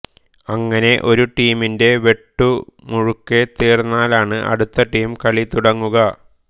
അങ്ങനെ ഒരു ടീമിന്റെ വെട്ടു മുഴുക്കെ തീർന്നാലാണ് അടുത്ത ടീം കളി തുടങ്ങുക